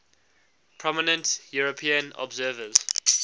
prominent european observers